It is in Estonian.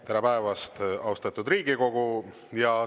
Tere päevast, austatud Riigikogu!